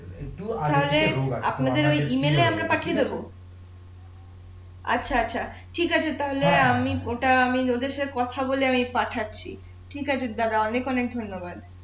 তাহলে আপনাদের ঐ ইমেইলে আমরা পাঠিয়ে দেবো আচ্ছা আচ্ছা ঠিক আছে তাহলে আমি ওটা আমি ওদের সাথে কথা বলে আমি পাঠাচ্ছি ঠিক আছে দাদা অনেক অনেক ধন্যবাদ